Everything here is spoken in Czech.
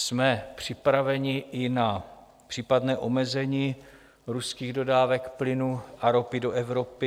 Jsme připraveni i na případné omezení ruských dodávek plynu a ropy do Evropy.